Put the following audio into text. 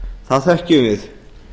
það þekkjum við